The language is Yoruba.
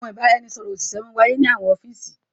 Àwọn ìbàràẹ̀nisọ̀rọ̀ ọṣìṣẹ̀ mà n wá yẹ ni àwọn ọfiísì.